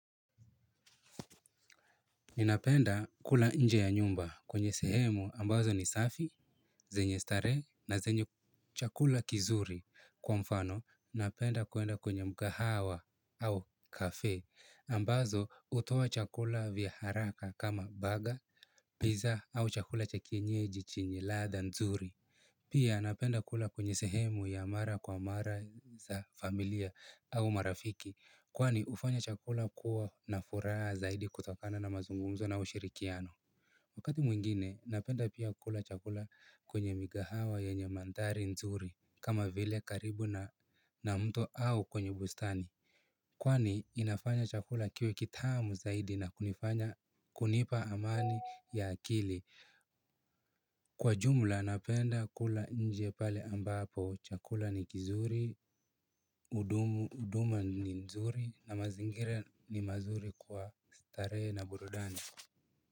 Ninapenda kula nje ya nyumba kwenye sehemu ambazo ni safi, zenye starehe na zenye chakula kizuri kwa mfano, napenda kuenda kwenye mgahawa au cafe, ambazo hutoa chakula vya haraka kama burger, pizza au chakula cha kienyeji chenye ladha nzuri. Pia napenda kula kwenye sehemu ya mara kwa mara za familia au marafiki kwani hufanya chakula kuwa na furaha zaidi kutokana na mazungumzo na ushirikiano. Wakati mwingine napenda pia kula chakula kwenye migahawa yenye mandhari nzuri kama vile karibu na mto au kwenye bustani. Kwani inafanya chakula kiwe kitamu zaidi na kunifanya kunipa amani ya akili. Kwa jumla napenda kula nje pale ambapo chakula ni kizuri, huduma ni nzuri na mazingira ni mazuri kwa starehe na burudani.